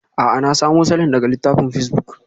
A'a, na samo salon daga littafin pacebuk.